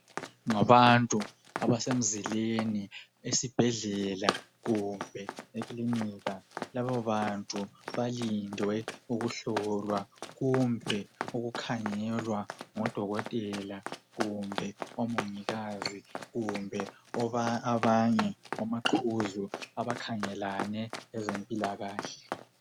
Ngabantu abasemzileni, esibhedlela kumbe ekilinika. Labo bantu balinde ukuhlolwa kumbe ukukhangelea ngodokotela kumbe omongikazi kumbe abanye omaqhuzu beze mpilakahle.